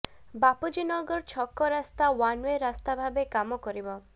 ବାପୁଜୀ ନଗର ଛକ ରାସ୍ତା one way ରାସ୍ତା ଭାବେ କାମ କରିବ